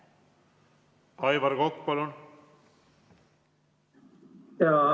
Aivar Kokk, palun!